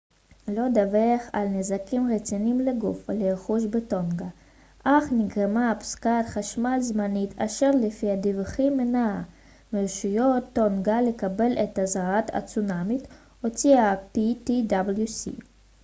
לא דווח על נזקים רציניים לגוף ולרכוש בטונגה אך נגרמה הפסקת חשמל זמנית אשר לפי הדיווחים מנעה מרשויות טונגה לקבל את אזהרת הצונאמי שהוציא ה־ptwc